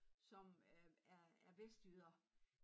Som øh er er vestjyder